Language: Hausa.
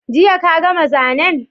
Jiya ka gama zanen?